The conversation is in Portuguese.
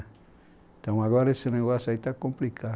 Então agora esse negócio aí está complicado.